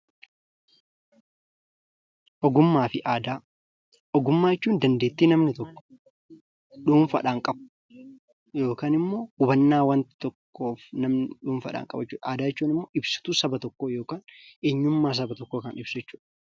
Ogummaa jechuun dandeettii namni tokko dhuunfaadhaan qabu yookaan hubannoo dhuunfaadhaan namni qabu jechuudha. Aadaan immoo ibsituu saba tokkoo yookiin eenyummaa saba tokkoo kan ibsu jechuudha.